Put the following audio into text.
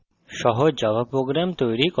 in tutorial আমরা শিখব